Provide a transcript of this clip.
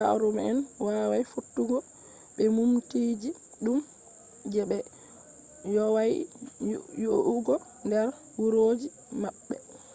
yaaruma'en wawai fottugo be muminteeji dum je be vowai yi'ugo der wuroji maɓɓe